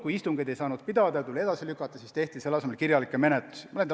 Kui istungeid ei saanud pidada ja need tuli edasi lükata, siis tehti selle asemel kirjalikke menetlusi.